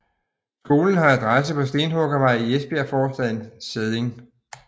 Skolen har adresse på Stenhuggervej i Esbjergforstaden Sædding